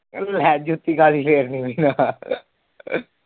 ਲੈ ਜੁਤੀ ਕਾਦੀ ਫੇਰਨੀ